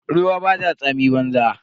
Ruwa bata tsami banza.